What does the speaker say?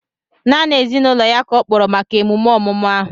Naanị ezinụlọ ya ka ọ kpọrọ maka emume ọmụmụ ahu